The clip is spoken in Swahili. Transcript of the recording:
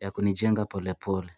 ya kunijenga pole pole.